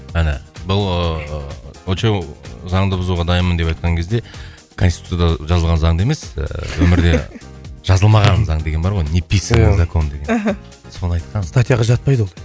әне бұл ыыы очоу заңды бұзуға дайынмын деп айтқан кезде конституцияда жазылған заңды емес ііі өмірде жазылмаған заң деген бар ғой неписаный закон деген мхм соны айтқан статьяға жатпайды ол